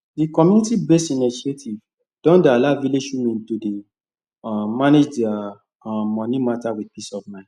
the community based initiative don dey allow village women to dey um manage their um money matter with peace of mind